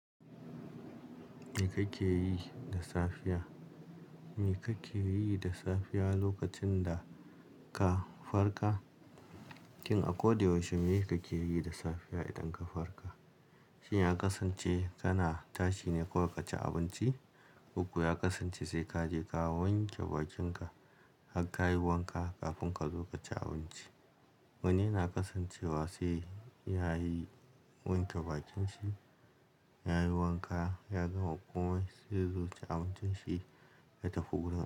Me kake yi da safiya? Me kake yi da safiya lokacin da ka farka? Kin a ko da yaushe me kake yi da safiya idan ka farka? Shin ya kasance kana tashi ne kawai kaci abinci? Koko ya kasance sai kaje ka wanke bakinka har ka yi wanka kafin ka zo kaci abinci. Wani yana kasancewa sai ya yi wanke bakin shi, ya yi wanka, ya gama komai sai ya zo ci abincin shi ya tafi gurin.